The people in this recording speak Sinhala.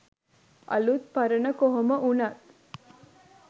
අලුත් පරණ කොහොම වුනත්